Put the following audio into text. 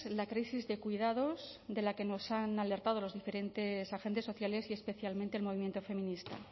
la crisis de cuidados de la que nos han alertado los diferentes agentes sociales y especialmente el movimiento feminista